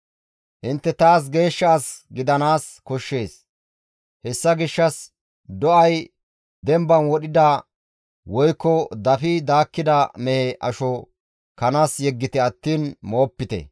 «Intte taas geeshsha as gidanaas koshshees; hessa gishshas do7ay demban wodhida woykko dafi daakkida mehe asho kanas yeggite attiin moopite.